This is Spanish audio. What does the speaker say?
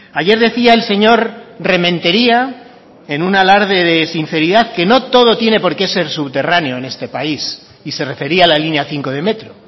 ayer decía el señor rementería en un alarde de sinceridad que no todo tiene por qué ser subterráneo en este país y se refería a la línea cinco de metro